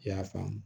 I y'a faamu